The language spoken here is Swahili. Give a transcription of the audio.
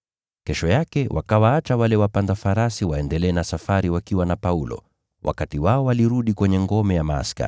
Kesho yake wakawaacha wale wapanda farasi waendelee na safari wakiwa na Paulo, wao wakarudi kwenye ngome ya askari.